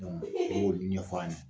ɲɛfɔ a ɲɛna